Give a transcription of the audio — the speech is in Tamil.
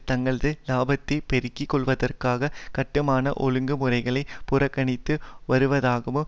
தங்களது இலாபத்தை பெருக்கி கொள்வதற்காக கட்டுமான ஒழ்ங்குமுறைகளை புறக்கணித்து வருவதாகவும்